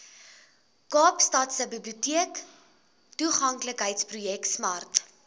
kaapstadse biblioteektoeganklikheidsprojek smart